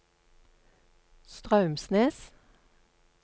Straumsnes